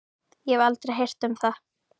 Ég hef aldrei heyrt um það.